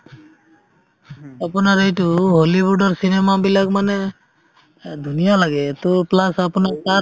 আপোনাৰ এইটো হলিউডৰ cinema বিলাক মানে এহ্ ধুনীয়া লাগে to plus আপোনাৰ তাৰ